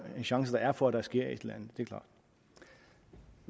er for at der sker et eller